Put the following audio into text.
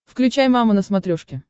включай мама на смотрешке